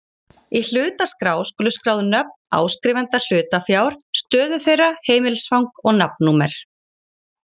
Í hlutaskrá skulu skráð nöfn áskrifenda hlutafjár, stöðu þeirra, heimilisfang og nafnnúmer.